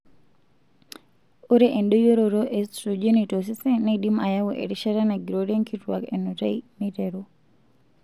Ore endoyioroto e estrojeni tosesen neidim ayau erishata nagirorie nkituak enutai meiteru.